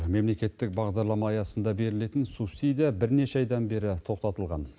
мемлекеттік бағдарлама аясында берілетін субсидия бірнеше айдан бері тоқтатылған